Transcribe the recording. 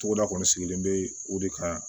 Togoda kɔni sigilen bɛ o de kan